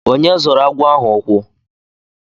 Onye zọrọ agwọ ahụ ukwu?